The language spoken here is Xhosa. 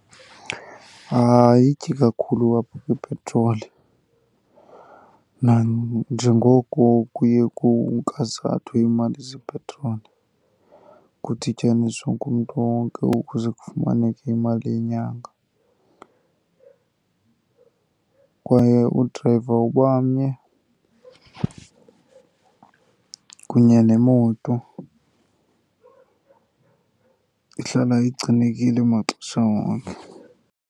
Ayityi kakhulu apha kwipetroli nanjengoko kuye kunkazathwe iimali zepetroli, kudityaniswe ngumntu wonke ukuze kufumaneke imali yenyanga. Kwaye udrayiva uba mnye kunye nemoto ihlala igcinekile maxesha wonke.